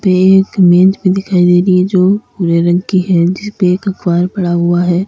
पे एक मेज भी दिखाई दे रही है जो भूरे रंग की है जिसपे एक अखबार पड़ा हुआ है।